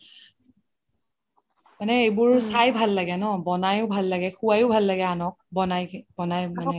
মানে এইবোৰ চাইও ভাল লাগে ন ব্নাইও ভাল লাগে খোৱাইও ভাল লাগে আনক ব্নাই মানে